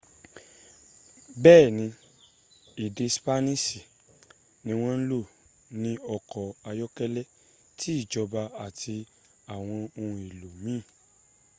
béèni èdè spaniṣi ni wọ́n lò ní ọkọ̀ ayọ́kẹ́lẹ́ ti ìjọba àti àwọn ohun èlò míìn